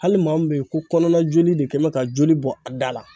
Hali maa min bɛ yen ko kɔnɔna joli de kɛn bɛ ka joli bɔ a da la